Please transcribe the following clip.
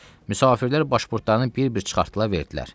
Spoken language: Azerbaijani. Müsafirlər başpurtlarını bir-bir çıxartdılar verdilər.